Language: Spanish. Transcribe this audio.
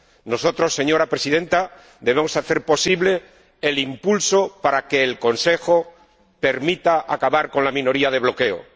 Nosotros, señora Presidenta, debemos hacer posible el impulso para que el Consejo permita acabar con la minoría de bloqueo.